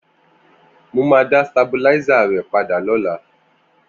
Mó mà dà stábilàisá rẹ pàdá lọ̀lá